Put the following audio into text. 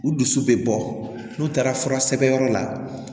U dusu bɛ bɔ n'u taara fura sɛbɛn yɔrɔ la